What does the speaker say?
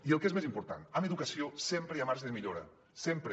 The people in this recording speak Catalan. i el que és més important en educació sempre hi ha marge de millora sempre